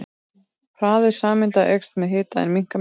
Hraði sameinda eykst með hita en minnkar með massa.